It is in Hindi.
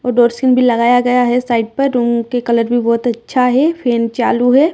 लगाया गया है साइड पर रूम के कलर भी बहुत अच्छा है फैन चालू है।